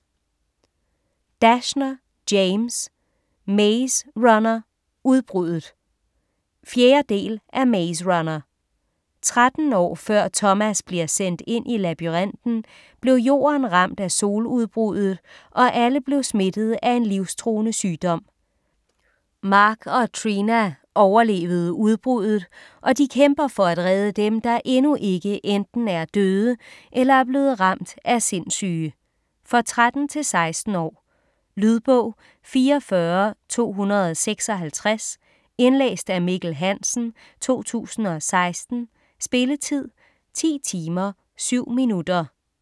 Dashner, James: Maze runner - udbruddet 4. del af Maze runner. 13 år før Thomas bliver sendt ind i labyrinten, blev jorden ramt af soludbruddet og alle blev smittet af en livstruende sygdom. Mark og Trina overlevede udbruddet og de kæmper for redde dem, der endnu ikke enten er døde eller blevet ramt af sindssyge. For 13-16 år. Lydbog 44256 Indlæst af Mikkel Hansen, 2016. Spilletid: 10 timer, 7 minutter.